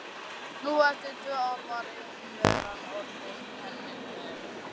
Nú eftir tvö ár var einveran orðin henni um megn.